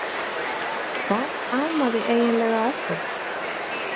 Hvað amaði eiginlega að þeim?